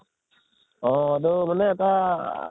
অʼ এইটো মানে এটা